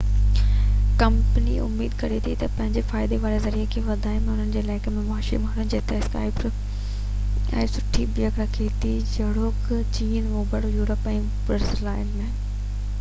company اميد ڪري ٿي تہ اهو پنهنجي فائدي واري ذريعي کي وڌائي ۽ انهن علائقن ۾ مشهوري ماڻي جتي اسڪائپ سٺي بيهڪ رکي ٿو جهڙوڪ چين اوڀر يورپ ۽ برازيل